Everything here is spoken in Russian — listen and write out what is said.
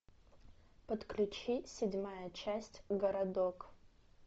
подключить седьмая часть городок